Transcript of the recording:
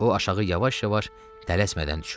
O aşağı yavaş-yavaş, tələsmədən düşürdü.